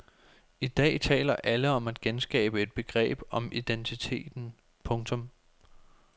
I dag taler alle om at genskabe et begreb om identiteten. punktum